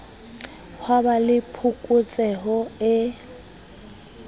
ha ba le phokotseho e